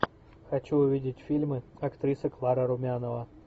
хочу увидеть фильмы актриса клара румянова